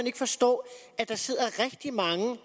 ikke forstå at der sidder rigtig mange